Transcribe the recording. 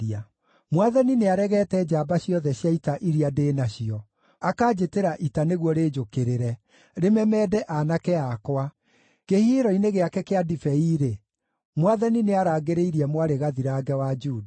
“Mwathani nĩaregete njamba ciothe cia ita iria ndĩ nacio, akanjĩtĩra ita nĩguo rĩnjũkĩrĩre, rĩmemende aanake akwa. Kĩhihĩro-inĩ gĩake kĩa ndibei-rĩ, Mwathani nĩarangĩrĩirie Mwarĩ Gathirange wa Juda.